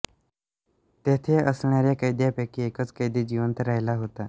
तेथे असणऱ्या कैद्यांपैकी एकच कैदी जिवंत राहिला होता